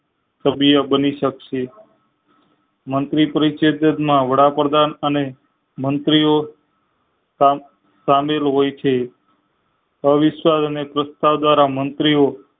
સભ્ય બની સક્સે મંત્રી પરિચિત વાળા પ્રધાન અને મંત્રી ઓ સા~ સામેલ હોય છે અવિશ્વાસ અને સ્વછતા દવારા મંત્રી ઓ